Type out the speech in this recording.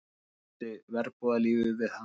Verr átti verbúðarlífið við hann.